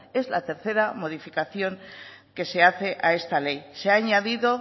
es la tercera modificación que se hace a esta ley se ha añadido